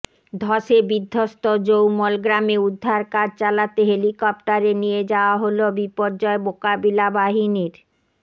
ধসে বিধ্বস্ত জৌমল গ্রামে উদ্ধার কাজ চালাতে হেলিকপ্টারে নিয়ে যাওয়া হল বিপর্যয় মোকাবিলা বাহিনীর